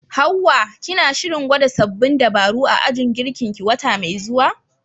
Hawwa, kina shirin gwada sabbin dabaru a ajin girkinki wata mai zuwa?